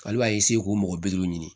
Ale b'a k'u mɔgɔ bi duuru ɲini